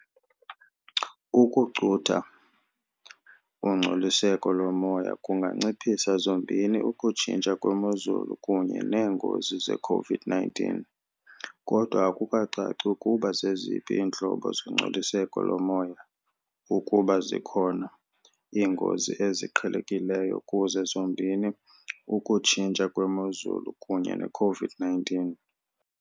Ukucutha ungcoliseko lomoya kunganciphisa zombini ukutshintsha kwemozulu kunye neengozi ze-COVID-19 kodwa akukacaci ukuba zeziphi iintlobo zongcoliseko lomoya, ukuba zikhona, iingozi eziqhelekileyo kuzo zombini ukutshintsha kwemozulu kunye ne-COVID-19.